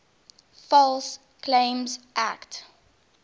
false claims act